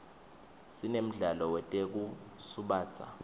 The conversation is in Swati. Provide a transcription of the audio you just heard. sinemdlalo wetekusubatsa